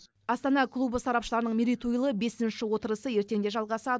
астана клубы сарапшыларының мерейтойлы бесінші отырысы ертең де жалғасады